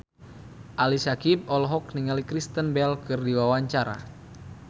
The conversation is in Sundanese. Ali Syakieb olohok ningali Kristen Bell keur diwawancara